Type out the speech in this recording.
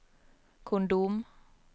kondom